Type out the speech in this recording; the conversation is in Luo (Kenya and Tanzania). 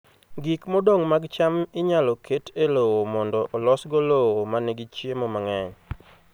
Gik modong' mag cham inyalo ket e lowo mondo olosgo lowo ma nigi chiemo mang'eny.